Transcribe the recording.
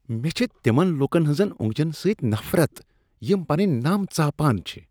مےٚ چھےٚ تمن لکن ہنزن اوٚنگجن سۭتۍ نفرت یم پنٕنۍ نَم ژاپان چھ۔